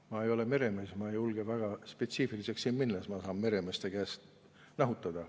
Ma ei ole meremees, ma ei julge väga spetsiifiliseks siin minna, siis ma saan meremeeste käest nahutada.